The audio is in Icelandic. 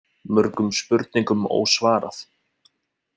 Mörgum spurningum ósvarað.